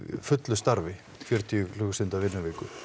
fullu starfi fjörutíu klukkustunda vinnuviku